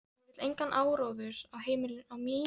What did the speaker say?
Ég vil engan áróður á mínu heimili.